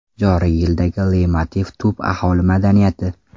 Joriy yildagi leytmotiv tub aholi madaniyati.